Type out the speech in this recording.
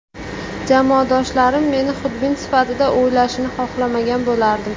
Jamoadoshlarim meni xudbin sifatida o‘ylashini xohlamagan bo‘lardim.